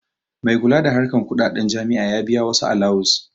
Mai kula da harkan kuɗaɗen jami'a ya biya wasu alawus